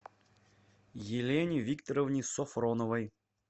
елене викторовне софроновой